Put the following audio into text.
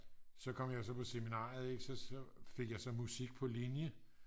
så kom jeg så på seminaret ikke så fik jeg så musik på linje